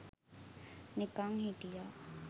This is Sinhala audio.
නිකන් හිටියා